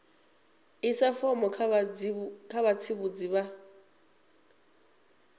isa fomo kha vhatsivhudzi vha